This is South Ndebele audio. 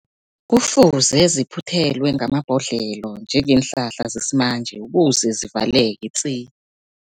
Kufuze ziphuthelwe ngamabhodlelo njengeenhlahla zesimanje, ukuze zivaleke tsi.